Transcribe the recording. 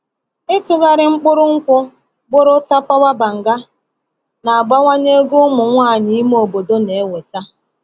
Ịtụgharị mkpụrụ nkwụ bụrụ tapawa banga na-abawanye ego ụmụ nwanyị ime obodo na-enweta.